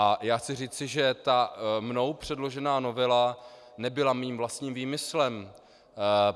A já chci říci, že ta mnou předložená novela nebyla mým vlastním výmyslem.